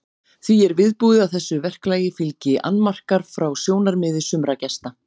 Því er viðbúið að þessu verklagi fylgi annmarkar frá sjónarmiði sumra gesta.